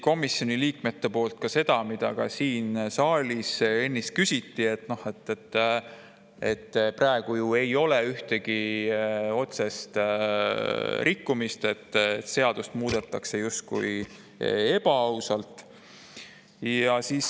Komisjoni liikmed küsisid ka selle kohta, mida ka siin saalis ennist küsiti, nimelt, praegu ju ei ole ühtegi otsest rikkumist, seadust muudetakse justkui ebaausalt.